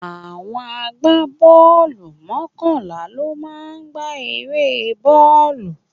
Àwọn agbá bọ́ọ̀lù mọ́kànlá ló máa ń gba eré bọ́ọ̀lù.